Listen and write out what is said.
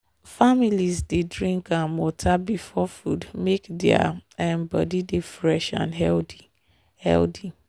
families dey drink um water before food make their um body dey fresh and healthy. healthy.